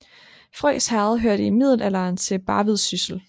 Frøs Herred hørte i middelalderen til Barvid Syssel